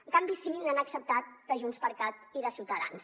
en canvi sí que n’han acceptat de junts per cat i de ciutadans